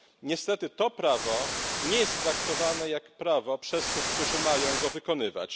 Niestety to prawo nie jest traktowane jak prawo przez tych, którzy mają je wykonywać.